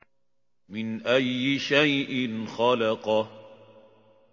مِنْ أَيِّ شَيْءٍ خَلَقَهُ